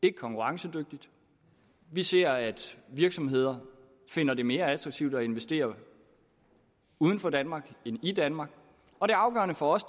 er konkurrencedygtigt vi ser at virksomheder finder det mere attraktivt at investere uden for danmark end i danmark og det afgørende for os